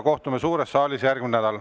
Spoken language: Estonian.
Kohtume suures saalis järgmisel nädalal.